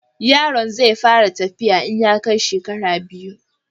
Yaron zai fara tafiya in ya kai shekara biyu.